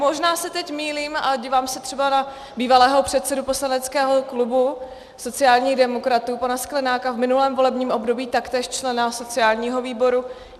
Možná se teď mýlím, ale dívám se třeba na bývalého předsedu poslaneckého klubu sociálních demokratů pana Sklenáka, v minulém volebním období taktéž člena sociálního výboru.